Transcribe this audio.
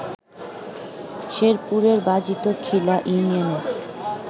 শেরপুরের বাজিত খিলা ইউনিয়নের